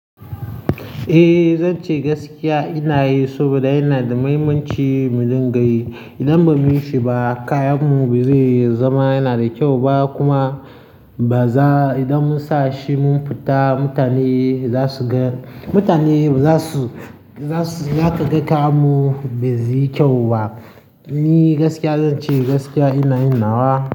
Eh, zan ce gaskiya ina yi saboda yana da muhimmanci mu dinga yi. Idan ba mu yi shi ba, kayanmu ba zai zama yana da kyau ba kuma ba za-- idan mun sa shi mun fita, mutane za su ga, mutane za su, za su, za ka ga kayanmu ba zai yi kyau ba. Ni gaskiya zan ce gaskiya ina yin nawa.